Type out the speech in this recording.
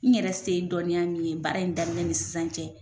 N yɛrɛ se dɔnniya min ye baara in daminɛ ni sisan cɛ